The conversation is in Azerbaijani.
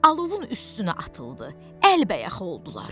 Alovun üstünə atıldı, əlbəyaxa oldular.